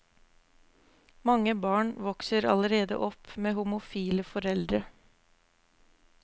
Mange barn vokser allerede opp med homofile foreldre.